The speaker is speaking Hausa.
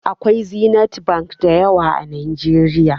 Akwai Zenith Bank da yawa a Najeriya.